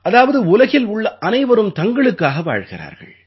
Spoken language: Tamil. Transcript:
அதாவது உலகில் உள்ள அனைவரும் தங்களுக்காக வாழ்கிறார்கள்